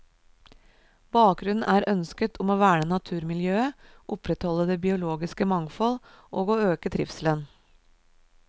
Bakgrunnen er ønsket om å verne naturmiljøet, opprettholde det biologiske mangfold og å øke trivselen.